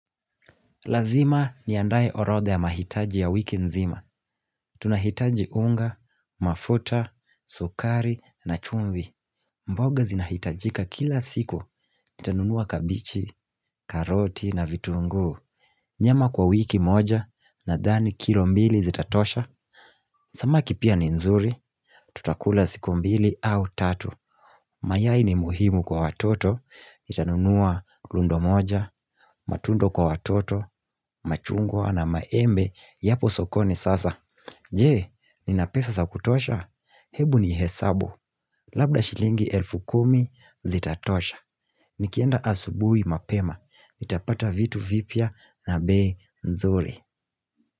Lazima ni andae orodha ya mahitaji ya wiki nzima. Tunahitaji unga, mafuta, sukari na chumvi. Mboga zinahitajika kila siku. Nitanunua kabichi, karoti na vitunguu. Nyama kwa wiki moja nadhani kilo mbili zitatosha. Samaki pia ni nzuri, tutakula siku mbili au tatu. Mayai ni muhimu kwa watoto. Nitanunua lundo moja, matundo kwa watoto, machungwa na maembe Yapo sokoni sasa Je, nina pesa sa kutosha Hebu ni hesabu Labda shilingi elfu kumi zitatosha Nikienda asubuhi mapema nitapata vitu vipya na bei nzuri.